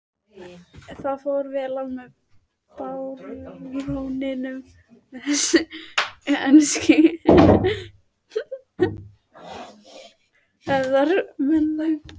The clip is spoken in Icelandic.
Það fór vel á með baróninum og þessum ensku hefðarmönnum.